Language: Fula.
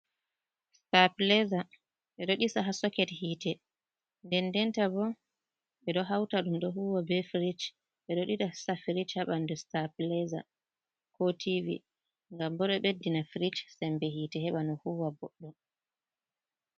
Stapileza. Ɓeɗo ɗisa ha soket hite dendenta bo ɓeɗo hauta ɗum ɗo huwa be frich. Ɓeɗo ɗisa frich ha ɓandu stapilaza ko Tibi ngam bo ɗo ɓeddina frich sembe hite heɓa no huwa boɗɗum.